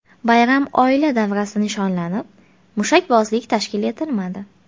Bayram oila davrasida nishonlanib, mushakbozlik tashkil etilmadi .